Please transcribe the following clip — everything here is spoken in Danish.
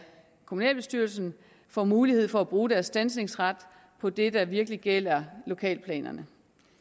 kommunalbestyrelsen får mulighed for at bruge deres standsningsret på det der virkelig gælder lokalplanerne